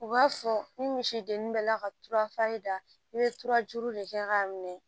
U b'a fɔ ni misi dennin bɛ la ka tura faji da i bɛ turajuru de kɛ k'a minɛ